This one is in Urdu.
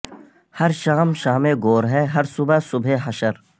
ہر شام شام گور ہے ہر صبح صبح حشر